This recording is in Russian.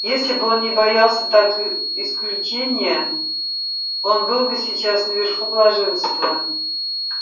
если бы он не боялся так исключения он был бы сейчас наверху блаженства